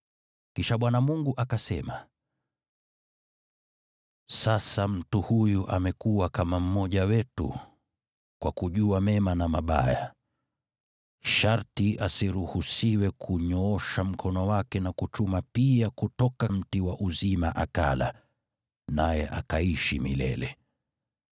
Kisha Bwana Mungu akasema, “Sasa mtu huyu amekuwa kama mmoja wetu, kwa kujua mema na mabaya. Sharti asiruhusiwe kunyoosha mkono wake na kuchuma pia kutoka mti wa uzima akala, naye akaishi milele.”